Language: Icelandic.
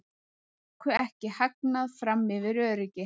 Tóku ekki hagnað fram yfir öryggi